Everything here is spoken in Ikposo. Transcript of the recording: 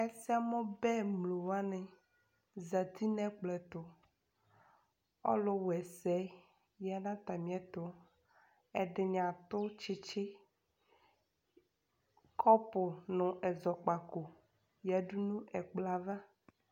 Ɛsɛmubɛ aluwani zati nu ɛkplɔtu ɔlu wa ɛsɛ zati nu atamiɛtu ɛdini adu tsitsi kɔpu nu ɛzɔkpako lɛ nu ɛkplɔ ava